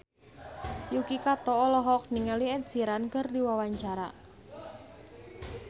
Yuki Kato olohok ningali Ed Sheeran keur diwawancara